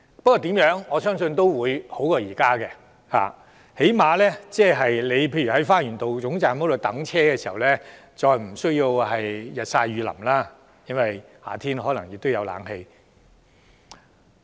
不過，我相信情況總會較現時好，至少當乘客在花園道總站候車時，再也無須日曬雨淋，並且在夏天也可以享受冷氣。